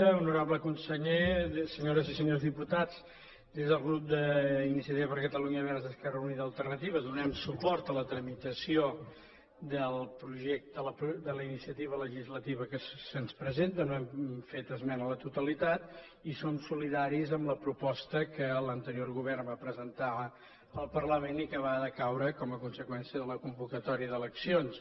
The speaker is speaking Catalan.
honorable conseller senyores i senyors diputats des del grup d’iniciativa per catalunya verds esquerra unida i alternativa donem suport a la tramitació de la iniciativa legislativa que se’ns presenta no hem fet esmena a la totalitat i som solidaris amb la proposta que l’anterior govern va presentar al parlament i que va decaure com a conseqüència de la convocatòria d’eleccions